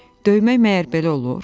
Döymək məgər belə olur?